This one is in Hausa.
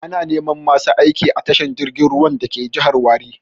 Ana neman masu aiki a tashar jirgin ruwan dake jihar Warri.